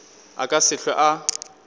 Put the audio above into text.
a ka se hlwe a